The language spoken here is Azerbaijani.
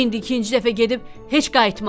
İndi ikinci dəfə gedib heç qayıtmaram.